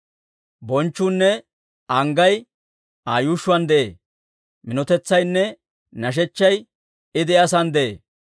Bonchchuunne anggay Aa yuushshuwaan de'ee; minotetsaynne nashechchay I De'iyaa Sa'aan de'ee.